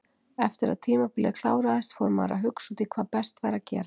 Eftir að tímabilið kláraðist fór maður að hugsa út í hvað best væri að gera.